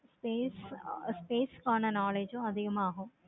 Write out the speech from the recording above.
space காண space காண knowledge அதிகமாகும்.